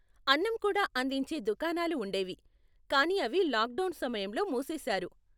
అన్నం కూడా అందించే దుకాణాలు ఉండేవి, కానీ అవి లాక్డౌన్ సమయంలో మూసేశారు.